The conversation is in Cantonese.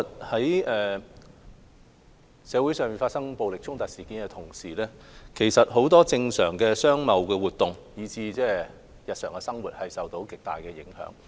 在社會發生暴力衝突事件的同時，很多正常的商貿活動，以至日常生活均受到極大影響。